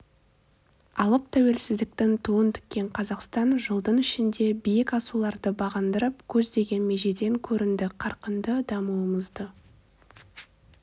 алып тәуелсіздіктің туын тіккен қазақстан жылдың ішінде биік асуларды бағындырып көздеген межеден көрінді қарқынды дамуымызды